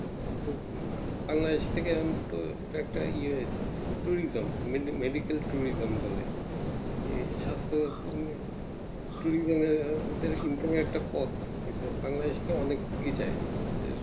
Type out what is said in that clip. আহ Bangladesh থেকে উম তো এটা একটা ইয়ে হয়েছে Tourism মে Medical tourism বলে নিয়ে সাস্থ একসঙ্গে Tourism এর একটা পপ Bangladesh কে অনেক এগিয়ে যায়